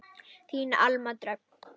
Þín Alma Dröfn.